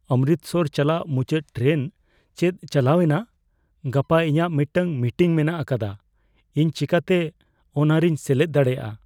ᱚᱢᱨᱤᱛᱥᱚᱨ ᱪᱟᱞᱟᱜ ᱢᱩᱪᱟᱹᱫ ᱴᱨᱮᱱ ᱪᱮᱫ ᱪᱟᱞᱟᱣ ᱮᱱᱟ ? ᱜᱟᱯᱟ ᱤᱧᱟᱜ ᱢᱤᱫᱴᱟᱝ ᱢᱤᱴᱤᱝ ᱢᱮᱱᱟᱜ ᱟᱠᱟᱫᱟ, ᱤᱧ ᱪᱤᱠᱟᱹᱛᱮ ᱚᱱᱟᱨᱮᱧ ᱥᱮᱞᱮᱫ ᱫᱟᱲᱮᱭᱟᱜ ?